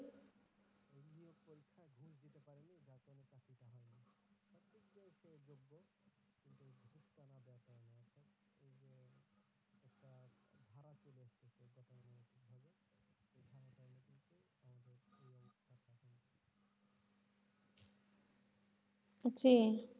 জি।